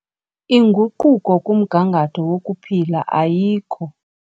Inguquko kumgangatho wokuphila ayikho.